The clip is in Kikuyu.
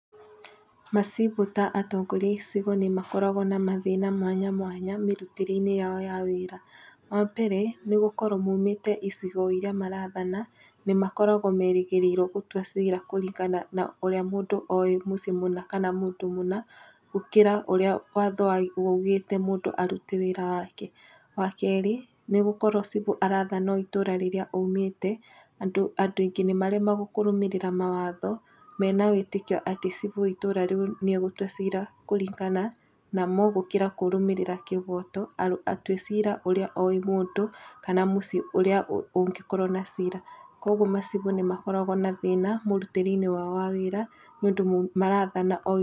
Macibũ ta atongoria a icigo nĩ makoragwo na mathĩna mwanya mwanya mĩrutĩre-inĩ yao ya wĩra, wa mbere nĩ gũkoro maumĩte icigo iria marathana, nĩ makoragwo merĩgĩrĩirwo gũtua cira kũringana na ũrĩa mũndũ oĩ mũciĩ mũna kana oĩ mũndũ mũna, gũkĩra ũríĩ watho ugĩte mũndũ arute wĩra wake. Wa keerĩ nĩ gũkorwo cibũ arathana o itũra rĩrĩa aumĩte, andũ aingĩ nĩ maremagwo kũrũmĩrĩra watho mena wĩtĩkia atĩ cibũ wa itũra rĩu nĩ egũtua cira kũringana namo, gũkira kũrũmĩrĩra kĩboto, atue cira ũrĩa oĩ mũndũ kana mũciĩ ũrĩa ũngĩkorwo na cira, kuũguo macibũ nĩ makoragwo na thĩna mũrutĩre-inĩ wao wa wĩra, nĩ ũndũ marathana o itũra.